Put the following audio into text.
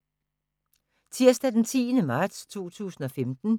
Tirsdag d. 10. marts 2015